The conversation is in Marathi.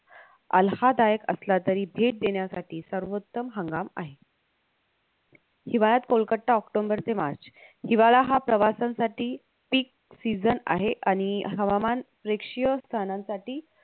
आल्हाददायक असला तरी भेट देण्यासाठी सर्वोत्तम हंगाम आहे हिवाळ्यात कोलकत्ता ओक्टोम्बर ते मार्च हिवाळा हा प्रवासासाठी peak season आहे आणि हवामान प्रेक्षीय स्थानांसाठी